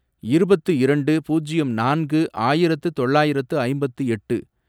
இருபத்து இரண்டு, பூஜ்யம் நான்கு, ஆயிரத்து தொள்ளாயிரத்து ஐம்பத்து எட்டு